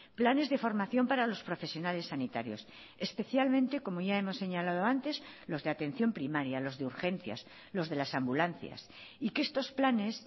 planes de formación para los profesionales sanitarios especialmente como ya hemos señalado antes los de atención primaria los de urgencias los de las ambulancias y que estos planes